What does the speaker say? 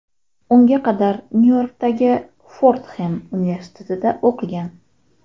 Unga qadar Nyu-Yorkdagi Fordxem universitetida o‘qigan.